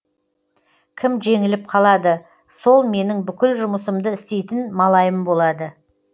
кім жеңіліп қалады сол менің бүкіл жұмысымды істейтін малайым болады